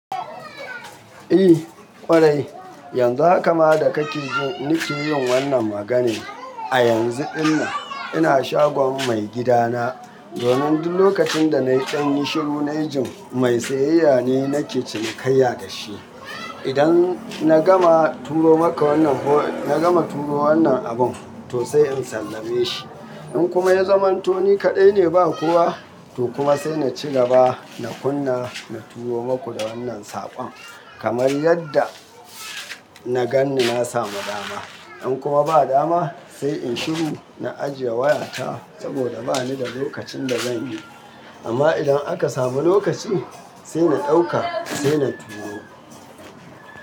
Eh ƙwarai, yanzu haka ma da ka ke ji ni ke yin wannan maganin. A yanzu dinnan ina shagon mai gidana. Domin duk lokacin da na yi ɗan nishi ru na yi jin mai siyayya ne nake cinikayya da shi. Idan na gama turo maka wannan ho-- na gama turo wannan abun to sai in sallame shi. In kuma ya zamanto ni kaɗai ne ba kowa, to kuma sai na ci gaba na kunna na turo maku da wannan saƙon. Kamar yadda na gan ni na samu dama. In kuma ba dama sai in shiru na ajiye wayata saboda ba ni da lokacin da zan yi. Amma idan aka samu lokaci sai na ɗauka sai na turo.